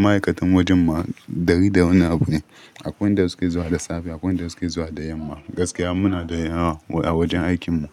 ma'aikatan wajen mu ɗari da wani abu ne, akwai wanda suke zuwa da safe, akwai wanda suke zuwa da yamma. Gaskiya muna da yawa a wajen aikin mu.